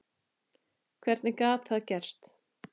Hvernig gat það gerst?